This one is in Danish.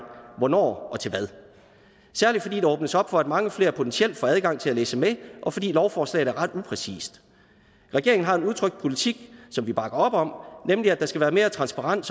hvornår og til hvad særlig fordi der åbnes op for at mange flere potentielt får adgang til at læse med og fordi lovforslaget er ret upræcist regeringen har en udtrykt politik som vi bakker op om nemlig at der skal være mere transparens